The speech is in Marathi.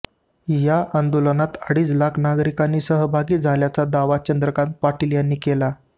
या आंदोलनात अडीच लाख नागरिक सहभागी झाल्याचा दावा चंद्रकांत पाटील यांनी केला